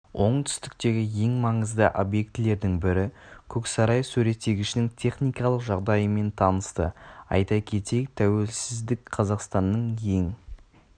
оңтүстіктегі ең маңызды объектілердің бірі көксарай суреттегішінің техникалық жағдайымен танысты айта кетейік тәуелсіздік қазақстанның ең